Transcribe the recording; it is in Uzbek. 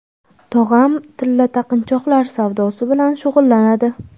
Tog‘am tilla taqinchoqlar savdosi bilan shug‘ullanadi.